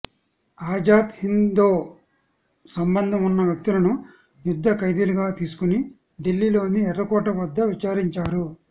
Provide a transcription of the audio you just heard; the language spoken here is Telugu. ఆజాద్ హింద్తో సంబంధం ఉన్న వ్యక్తులను యుద్ధ ఖైదీలుగా తీసుకొని ఢిల్లీలోని ఎర్రకోట వద్ద విచారించారు